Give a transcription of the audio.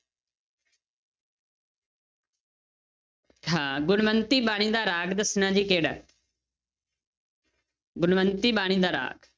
ਹਾਂ ਗੁਣਵੰਤੀ ਬਾਣੀ ਦਾ ਰਾਗ ਦੱਸਣਾ ਜੀ ਕਿਹੜਾ ਗੁਣਵੰਤੀ ਬਾਣੀ ਦਾ ਰਾਗ।